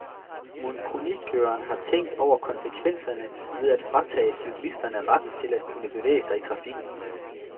Mon kronikøren har tænkt over konsekvenserne ved at fratage cyklisterne retten til at kunne bevæge sig i trafikken.